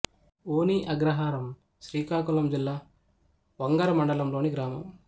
వోని అగ్రహారం శ్రీకాకుళం జిల్లా వంగర మండలం లోని గ్రామం